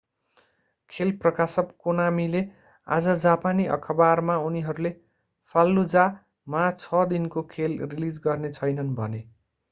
खेल प्रकाशक konamiले आज जापानी अखबारमा उनीहरूले fallujah मा छ दिनको खेल रिलीज गर्ने छैनन्‌ भने।